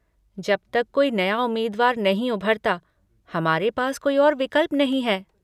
जब तक कोई नया उम्मीदवार नहीं उभरता, हमारे पास कोई और विकल्प नहीं है।